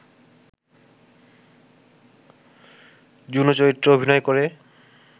Juno চরিত্রে অভিনয় করে